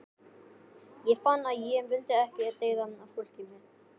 Ég fann að ég vildi ekki deyða fólkið mitt.